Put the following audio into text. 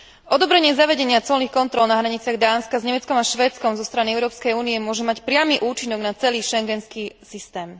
Odobrenie zavedenia colných kontrol na hraniciach Dánska s Nemeckom a Švédskom zo strany Európskej únie môže mať priamy účinok na celý schengenský systém.